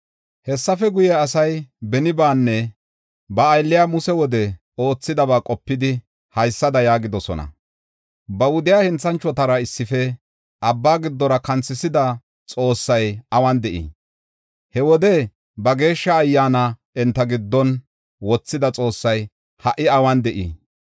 Hessafe guye asay benibaanne ba aylliya Muse wode oothidaba qopidi, haysada yaagidosona: “Ba wudiya henthanchotara issife abba giddora kanthisida Xoossay awun de7ii? He wode ba Geeshsha Ayyaana enta giddon, wothida Xoossay ha77i awun de7ii?